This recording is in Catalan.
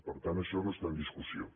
per tant això no està en discussió